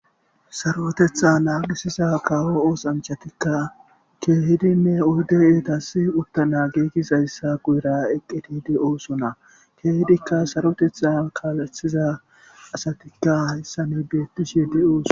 sarotetha naagisiza kaawo oosanchatikka keehidinne oyde eeta si uttana geegis ayssa guyra eqqetide oosona keehidikka sarotetha kaalethiza asatikka hayssani beettish yede ooso